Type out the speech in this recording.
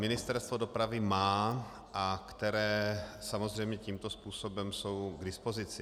Ministerstvo dopravy má a které samozřejmě tímto způsobem jsou k dispozici.